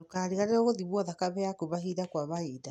Ndũkariganĩrũo gũthimwo thakame yaku mahinda kwa mahinda.